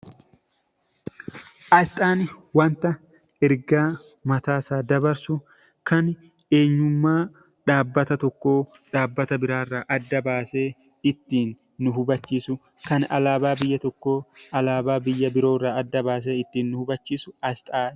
Asxaan wanta ergaa mataa isaa dabarsu kan eenyummaa dhaabbata tokkoo dhaabbata biraa irraa adda baasee ittiin nu hubachiisu, kan alaabaa biyya tokkoo alaabaa biyya biroo irraa adda baasee ittiin nu hubachiisu Asxaa...